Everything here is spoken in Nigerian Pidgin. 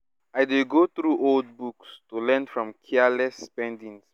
i dey go through old books to learn from careless spendings before